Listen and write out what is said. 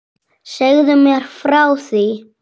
Segðu mér frá því?